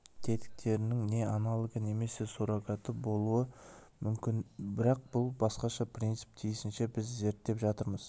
тетіктерінің не аналогы немесе суррогаты болуы мүмкін бірақ бұл басқаша принцип тиісінше біз зерттеп жатырмыз